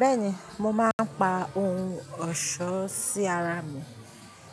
Bẹ́ẹ̀ni, mo máa ń pa ohun ọ̀ṣọ́ sí ara mi,